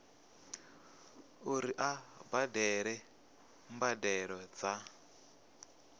uri a badele mbadelo dza